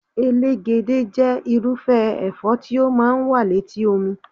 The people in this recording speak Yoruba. Elégédé jẹ́ irúfẹ́ ẹ̀fọ́ tí ó máa ń wà létí omi